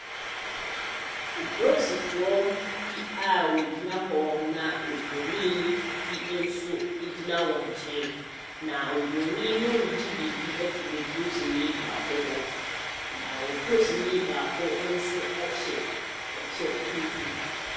Aproosifoɔ bi a wɔgyina hɔ na obronii bi nso ɛgyina wɔn nkyɛn na obronii no regye biribi afiri oprosinii baako hɔ naa oprosini baako nso ɛhyɛ kyɛ tuntum.